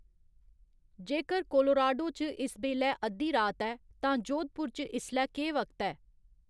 जेकर कोलोराडो च इस बेल्लै अद्धी रात ऐ तां जोधपुर च इसलै केह् वक्त ऐ?